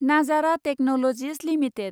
Nazara Technologies limited